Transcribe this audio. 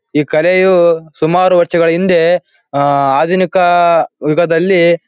ಈ ಕಲೆಯು ಸುಮಾರು ವರ್ಷಗಳ ಹಿಂದೆ ಆ ಆ ದಿನ ಕಾ ಯುಗದಲ್ಲಿ--